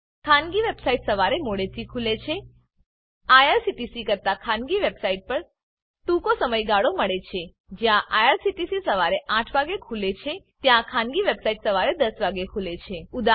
ખાનગી વેબસાઈટ સવારે મોડેથી ખુલે છે આઇઆરસીટીસી કરતા ખાનગી વેબ સાઈટ પર ટૂંકો સમય ગાળો મળે છે જ્યાં આઇઆરસીટીસી સવારે ૮ વાગે ખુલે છે ત્યાં ખાનગી વેબસાઈટ સવારે ૧૦ વાગે ખુલે છે